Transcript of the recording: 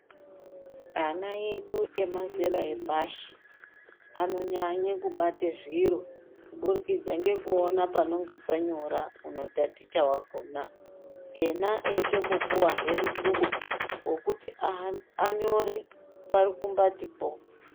Ana edu emazera epashi anonyanye kubate zviro kuburikidza ngekuona panonga panyora unotaticha wakona, ena eyitombopuwahe mukubo wekuti anyore parukumbatipo.